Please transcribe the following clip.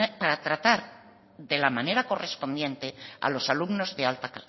para tratar de la manera correspondiente a los alumnos de alta